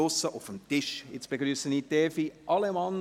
Ich begrüsse nun Evi Allemann.